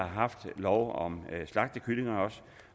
haft lov om slagtekyllinger